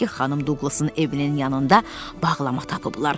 Xanım Duglasın evinin yanında bağlama tapıblar.